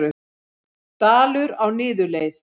Dalur á niðurleið